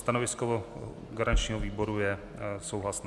Stanovisko garančního výboru je souhlasné.